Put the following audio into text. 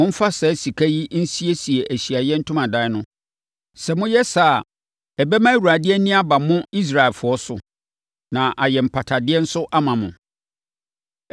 Momfa saa sika yi nsiesie Ahyiaeɛ Ntomadan no. Sɛ moyɛ saa a, ɛbɛma Awurade ani aba mo, Israelfoɔ so, na ayɛ mpatadeɛ nso ama mo.”